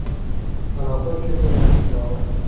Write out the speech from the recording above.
Aloqa uchun eng yaxshi ilova.